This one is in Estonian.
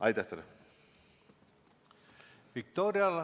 Aitäh teile!